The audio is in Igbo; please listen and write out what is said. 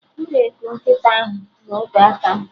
M ga-eku nkịta ahụ na obeaka m?